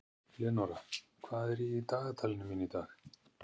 Leonóra, hvað er í dagatalinu mínu í dag?